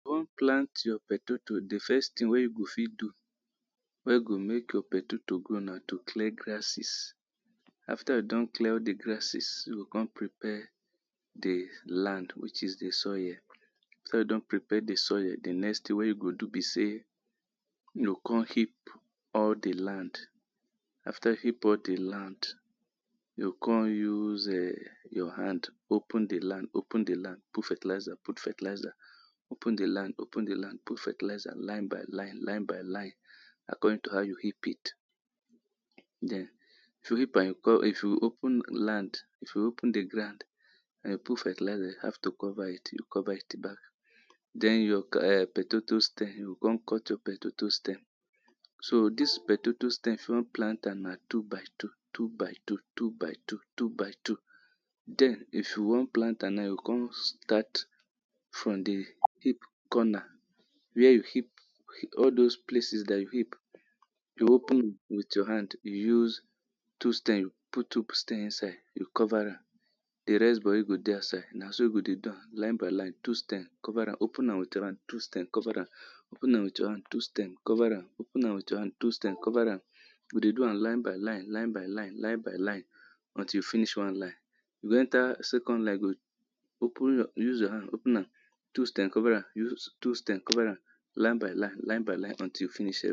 If you wan plant your potato, di first tin wey you go fit do wey go make your potato grow na to clear grasses After you don clear all di grasses, you go come prepare di land which is di soil. After you don prepare di soil, di next thing wey you go do be sey you go kon heap all di land. After you don heap all di land you come use um your hand open di land, open di land put fertilizer, put fertilizer open di land open di land, put fertlizer line by line, line by line according to how you heap it. Then if you heap am you go come, if you open land If you open di ground um put fertilizer, you have to cover it, you cover it back Then your um potato stem, you go kon cut your potato stem so dis potato stem, if you plant am na two by two, two by two, two by two, two by two, Then if you wan plant am now, you go come start from di heap corner, where you heap, all those place dat you heap you open with your hand, you use two stem, put two stem inside you cover am di rest body go dey outside, na so you do am line by line two stem, cover am open am with hand two stem cover am open with your hand, two stem cover am, open am with your hand, two stem cover am open am with your hand two stem cover am open am with your hand two stem cover am we dey do am line by line, line by line, line by line until you finish one line you go enter second line, you go open use hand open am two stem cover am, use two stem cover am, line by line, line by line until you finish